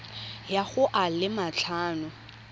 ya go a le matlhano